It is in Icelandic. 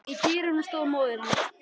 Í dyrunum stóð móðir hans.